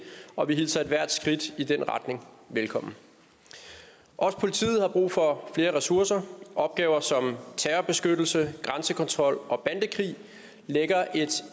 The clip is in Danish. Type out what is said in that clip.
og vi hilser ethvert skridt i den retning velkommen også politiet har brug for flere ressourcer opgaver som terrorbeskyttelse grænsekontrol og bandekrig lægger et